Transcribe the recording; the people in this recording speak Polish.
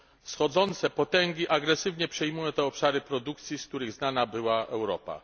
Wschodzące potęgi agresywnie przejmują te obszary produkcji, z których znana była Europa.